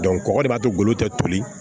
kɔkɔ de b'a to golo te toli